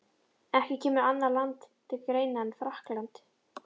Ekki kemur annað land til greina en Frakkland.